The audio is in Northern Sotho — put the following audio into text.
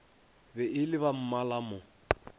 be e le bammala mo